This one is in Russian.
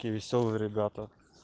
такие весёлые ребята